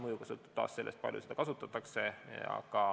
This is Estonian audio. Kõik sõltub taas sellest, kui palju seda kasutatakse.